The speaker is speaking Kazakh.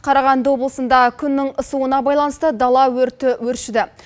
қарағанды облысында күннің ысуына байланысты дала өрті өршіді